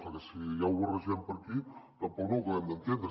perquè si ja ho barregem per aquí tampoc no ho acabem d’entendre